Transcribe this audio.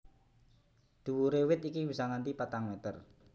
Dhuwure wit iki bisa nganti patang meter